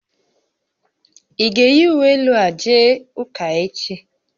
Ị ga-eyi uwe elu a jee ụka echi?